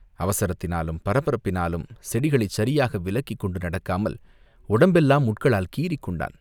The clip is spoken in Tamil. அவசரத்தினாலும் பரபரப்பினாலும் செடிகளைச் சரியாக விலக்கிக் கொண்டு நடக்காமல் உடம்பெல்லாம் முட்களால் கீறிக் கொண்டான்.